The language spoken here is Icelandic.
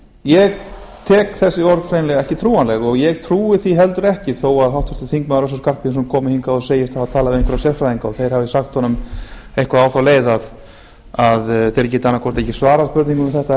ég tek þessi orð hreinlega ekki trúanleg og ég trúi því heldur ekki þó að háttvirtur þingmaður össur skarphéðinsson segist hafa komið hingað og talað við einhverja sérfræðinga og þeir hafi sagt honum eitthvað á þá leið að þeir geti annaðhvort ekki svarað spurningum um þetta